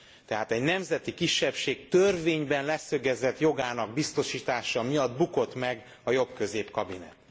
Tehát egy nemzeti kisebbség törvényben leszögezett jogának biztosítása miatt bukott meg a jobbközép kabinet.